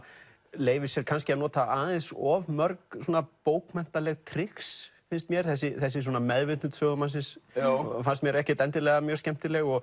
leyfir sér kannski að nota aðeins of mörg bókmenntaleg trix finnst mér þessi þessi svona meðvitund sögumannsins fannst mér ekkert endilega mjög skemmtileg og